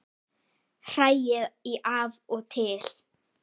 Hrærið í af og til.